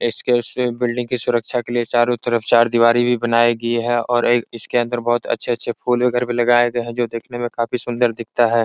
इसके उसके बिल्डिंग की सुरक्षा के लिये चारों तरफ चार दिवारी भी बनाई गयी हैं और एक इसके अंदर बहुत अच्छे-अच्छे फूल वगैरा भी लगाये गए हैं जो देखने में काफी सुन्दर दिखता है।